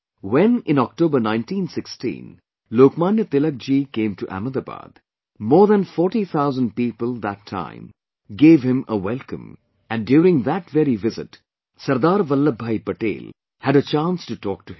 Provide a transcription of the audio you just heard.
When in October 1916, Lok Manya Tilak ji came to Ahmedabad, more than 40,000 people that time gave him a welcome and during that very visit, Sardar Vallabh Bhai Patel had a chance to talk to him